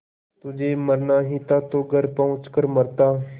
तुझे मरना ही था तो घर पहुँच कर मरता